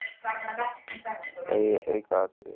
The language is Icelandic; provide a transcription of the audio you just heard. Gæði aukaatriði?